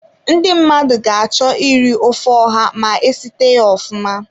Ndi mmadụ ga-achọ iri ofe ọha ma esite ya ofụma.